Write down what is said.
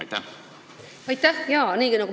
Aitäh!